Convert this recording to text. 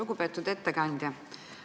Lugupeetud ettekandja!